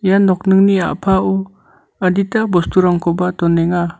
nokningni a·pao adita bosturangkoba donenga.